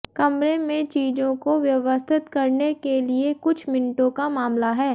कमरे में चीजों को व्यवस्थित करने के लिए कुछ मिनटों का मामला है